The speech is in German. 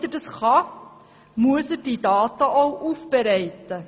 Damit er das kann, muss er die Daten auch aufbereiten.